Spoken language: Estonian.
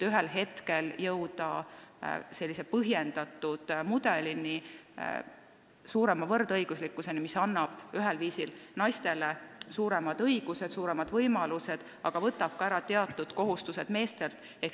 Ühel hetkel jõuame nii ehk igati põhjendatud mudelini, suurema võrdõiguslikkuseni, mis annab ühelt poolt naistele suuremad õigused, suuremad võimalused, aga teisalt võtab teatud kohustused meestelt ära.